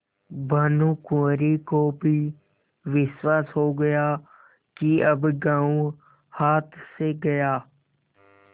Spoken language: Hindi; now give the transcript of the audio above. भानुकुँवरि को भी विश्वास हो गया कि अब गॉँव हाथ से गया